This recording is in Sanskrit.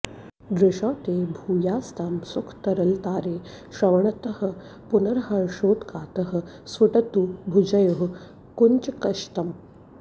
दृशौ ते भूयास्तां सुखतरलतारे श्रवणतः पुनर्हर्षोत्कर्षात् स्फुटतु भुजयोः कञ्चुकशतम्